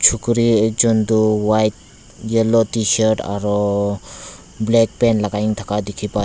chukuri ekjon toh white yellow tshirt aro black pant lakai na thaka dikhipai--